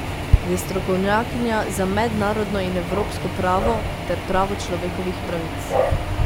Je strokovnjakinja za mednarodno in evropsko pravo ter pravo človekovih pravic.